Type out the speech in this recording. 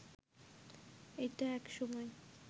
এইটা এক সময়